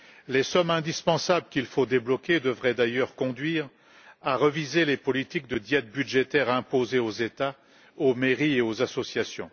Les sommes indispensables qu'il faut débloquer devraient d'ailleurs conduire à réviser les politiques de diète budgétaire imposées aux États, aux mairies et aux associations.